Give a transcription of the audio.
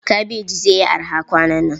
Kabaji zai yi araha kwanan nan.